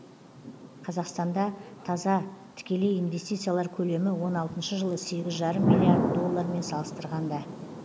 қазақстанда таза тікелей инвестициялар көлемі он алтыншы жылы сегіз жарым миллиард доллармен салыстырғанда